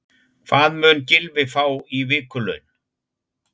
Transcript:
Hvað mun Gylfi fá í vikulaun?